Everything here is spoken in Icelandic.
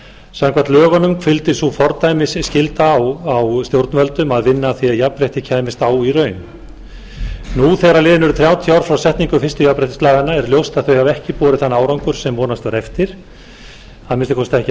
samkvæmt lögunum hvíldi sú fordæmisskylda á stjórnvöldum að vinna að því að jafnrétti kæmist á í raun nú þegar liðin eru þrjátíu ár frá setningu fyrstu jafnréttislaganna er ljóst að þau hafa ekki borið þann árangur sem vonast var eftir að minnsta kosti ekki að fullu